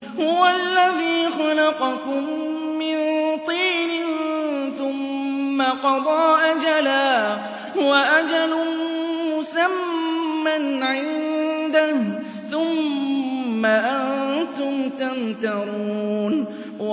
هُوَ الَّذِي خَلَقَكُم مِّن طِينٍ ثُمَّ قَضَىٰ أَجَلًا ۖ وَأَجَلٌ مُّسَمًّى عِندَهُ ۖ ثُمَّ أَنتُمْ تَمْتَرُونَ